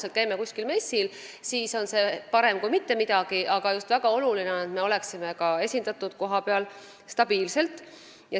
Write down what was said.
Kui me käime ühe korra kuskil messil, siis on see küll parem kui mitte midagi, aga veel olulisem oleks olla kohapeal püsivalt esindatud.